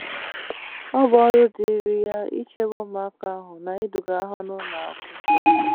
Ọ bụ ọrụ dịịrị ya ichebe ụmụaka ahụ na iduga ha n’ụlọ akwụkwọ.